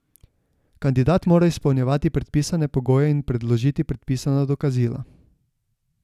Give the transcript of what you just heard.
Kandidat mora izpolnjevati predpisane pogoje in predložiti predpisana dokazila.